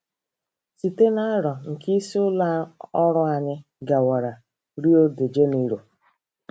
Site na aro nke isi ụlọ ọrụ, anyị gawara Rio de Janeiro.